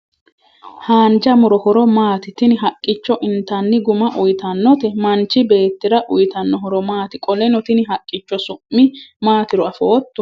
Haanja muro horo maati? Tini haqqicho intanni Guma uyiitannote? Manchi beettira uyiitanno horo maati? Qoleno tini haqqicho su'mi maatiro afootto?